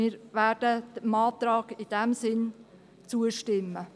Wir werden dem Antrag in diesem Sinn zustimmen.